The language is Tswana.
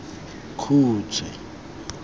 khutshwe